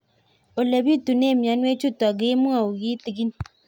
Ole pitune mionwek chutok ko kimwau kitig'ín